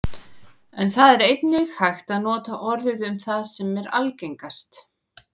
en það er einnig hægt að nota orðið um það sem er algengast